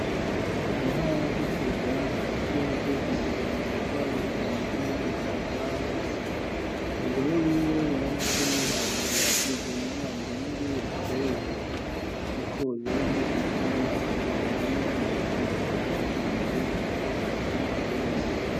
Mu ntara ya Gitega hagati y'imisozi ibiri yitwa Rukinzo niyindi Ruhabaga umugore wiwe yaramutumye ati: '' Genda unzanire utweze kuko jewe ntibikunda ko mva ku musego.'' Umugore wiwe ati:'' Yemwe ndarengutse reka ngende ndakuzanire.''